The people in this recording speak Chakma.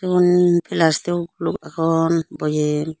igun flastickgo guluck agon boyem.